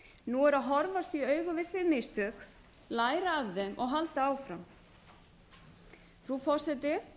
nú er að horfast í augu við þau mistök læra af þeim og halda áfram frú forseti